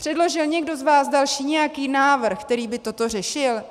Předložil někdo z vás další nějaký návrh, který by toto řešil?